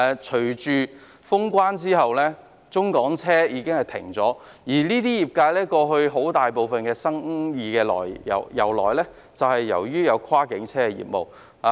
隨着封關，中港車已暫停營運，而相關業界過去的主要生意來源便是跨境車業務。